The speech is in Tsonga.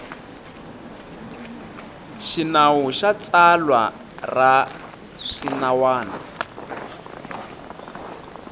xinawu na tsalwa ra swinawana